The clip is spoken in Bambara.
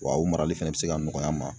Wa o marali fɛnɛ bɛ se ka nɔgɔya n ma.